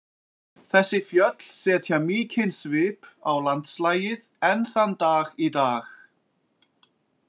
Þessi fjöll setja mikinn svip á landslagið enn þann dag í dag.